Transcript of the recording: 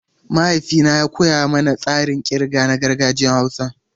Mahaifina ya koya mana tsarin kirga na gargajiyar Hausa.